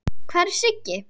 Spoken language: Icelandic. Hvar er Siggi?